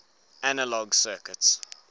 analog circuits